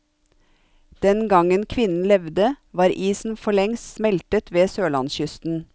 Den gangen kvinnen levde, var isen forlengst smeltet ved sørlandskysten.